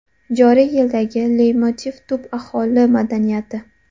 Joriy yildagi leytmotiv tub aholi madaniyati.